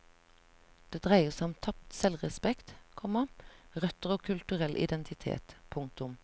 Det dreier seg om tapt selvrespekt, komma røtter og kulturell identitet. punktum